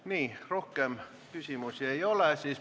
Nii, rohkem küsimusi ei ole.